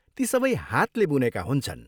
ती सबै हातले बुनेका हुन्छन्।